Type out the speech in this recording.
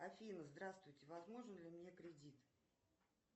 афина здравствуйте возможен ли мне кредит